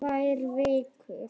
Tvær vikur?